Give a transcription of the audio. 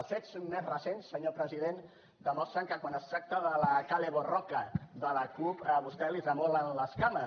els fets més recents senyor president demostren que quan es tracta de la kale borroka de la cup a vostè li tremolen les cames